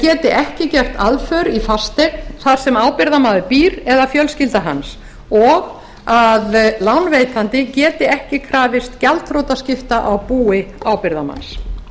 geti ekki gert aðför í fasteign þar sem ábyrgðarmaður býr eða fjölskylda hans og að lánveitandi geti ekki krafist gjaldþrotaskipta á búi ábyrgðarmanns